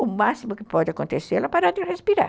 O máximo que pode acontecer é ela parar de respirar.